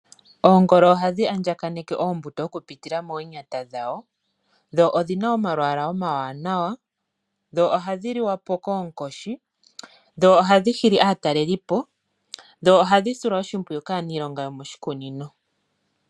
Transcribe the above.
Oongolo ohadhi andjaganeke oombuto okupitila moonyata dhadho, dho odhi na omalwaala omawanawa. Ohadhi liwa po koonkoshi, ohadhi hili aatalelipo nohadhi silwa wo oshimpwiyu kaaniilonga yomoshikunino.